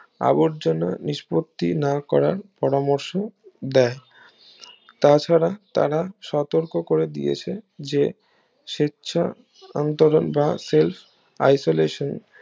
আবর্জনা নিস্পত্তি না করার পরামর্শ দেয় তা ছাড়া তারা সতর্ক করে দিয়েছে যে স্বেচ্ছা অন্তরঙ্গ বা সেলস isolation